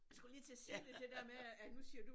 Jeg skulle lige til at sige det det dér med at nu siger du